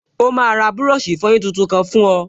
Ó máa ra búrọ̀ṣì ìfọyín tuntun kan fún ọ